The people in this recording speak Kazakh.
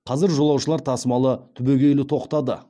қазір жолаушылар тасымалы түбегейлі тоқтады